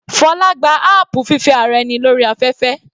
Fola gba apu fífẹ́ ara ẹni lórí afẹ́fẹ́.